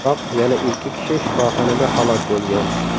Biroq yana ikki kishi shifoxonada halok bo‘lgan.